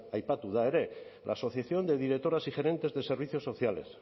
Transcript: aipatu da ere la asociación de directores y gerentes de servicios sociales